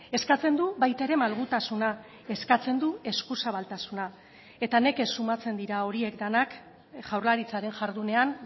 eskatzen du baita ere malgutasuna eskatzen du esku zabaltasuna eta nekez sumatzen dira horiek denak jaurlaritzaren jardunean